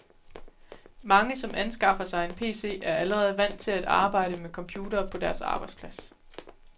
Mange, som anskaffer sig en pc, er allerede vant til at arbejde med computere på deres arbejdsplads.